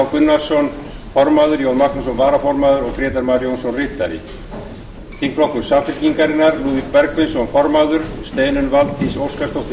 gunnarsson varaformaður jón magnússon ritari grétar mar jónsson þingflokkur samfylkingarinnar formaður lúðvík bergvinsson varaformaður steinunn valdís óskarsdóttir